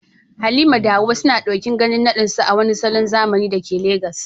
Halima da Hawwa suna ɗokin ganin naɗinsu a wani salon zamani da ke Legas